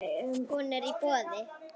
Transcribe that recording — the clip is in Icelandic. Hún er í boði.